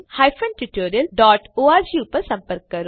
જોડાવા બદ્દલ આભાર